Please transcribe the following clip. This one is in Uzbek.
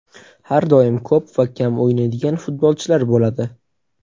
Har doim ko‘p va kam o‘ynaydigan futbolchilar bo‘ladi.